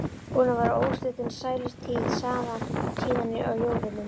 Búin að vera óslitin sælutíð síðan á jólunum.